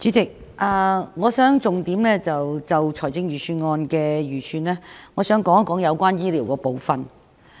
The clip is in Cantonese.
主席，我想就財政預算案的預算，重點談談有關醫療的部分。